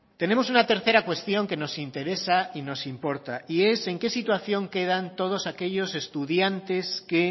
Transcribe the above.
tenemos una tercera cuestión que nos interesa y nos importa y es en qué situación quedan todos aquellos estudiantes que